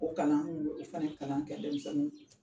O kalan n kun bɛ fana kalan kɛ denmisɛnninw